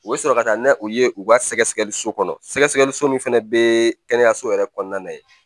U bɛ sɔrɔ ka taa n'a u ye u ka sɛgɛsɛgɛliso kɔnɔ sɛgɛsɛgɛliso min fɛnɛ bɛ kɛnɛya so yɛrɛ kɔnɔna na yen